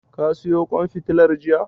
Ka siyo ƙwan fitilar jiya?